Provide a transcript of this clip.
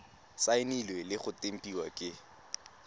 saenilwe le go tempiwa ke